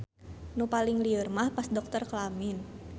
Nu paling lieur mah pas dokter kelamin.